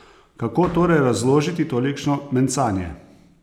Kako torej razložiti tolikšno mencanje?